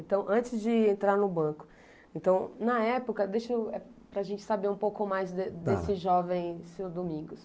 Então, antes de entrar no banco, então, na época, deixa eu, para a gente saber um pouco mais de desse jovem senhor Domingos.